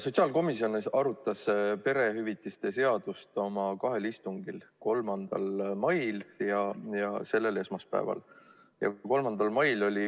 Sotsiaalkomisjon arutas perehüvitiste seadust oma kahel istungil: 3. mail ja selle nädala esmaspäeval.